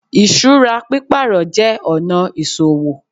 Ìṣúra pípàrọ̀ jé ọ̀nà ìsòwò